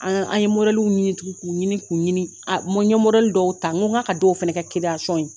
An an ye ɲini tugun k'u ɲini k'u ɲini a n ye dɔw ta n ko n k'a dɔw fana ka ye